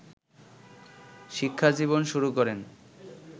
শিক্ষাজীবন শুরু করেন